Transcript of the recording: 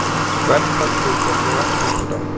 Verðfall hlutabréfa heldur áfram